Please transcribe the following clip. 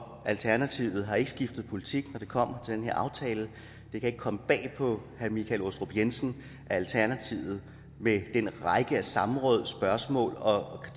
og alternativet har ikke skiftet politik når det kommer til den her aftale det kan ikke komme bag på herre michael aastrup jensen at alternativet med den række af samråd og spørgsmål og